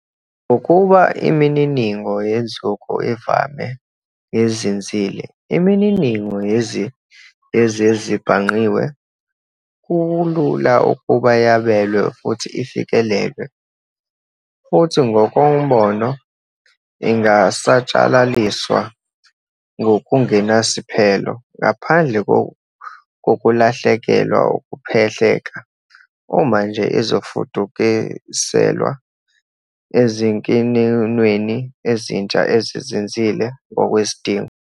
Nakuba imininingo yenzuko ivame ukuba ngezinzile, imininingo yezezibhangqiwe kulula ukuba yabelwe futhi ifikelelwe, futhi ngokombono, ingasatshalaliswa ngokungenasiphelo ngaphandle kokulahlekelwa ukuphehleka, uma nje izofudukiselwa ezinikinweni ezintsha, ezizinzile, ngokwesidingo.